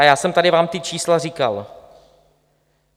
A já jsem vám tady ta čísla říkal.